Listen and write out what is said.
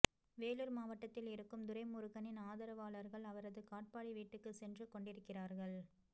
வேலூர் மாவட்டத்தில் இருக்கும் துரைமுருகனின் ஆதரவாளர்கள் அவரது காட்பாடி வீட்டுக்குச் சென்றுகொண்டிருக்கிறார்கள்